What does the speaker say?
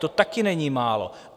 To také není málo!